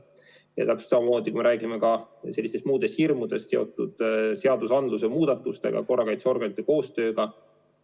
Ja täpselt samamoodi, kui me räägime ka muudest hirmudest, mis on seotud seadusandluse muudatustega, korrakaitseorganite koostööga.